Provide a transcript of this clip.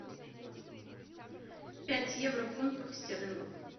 пять евро в фунтах стерлингов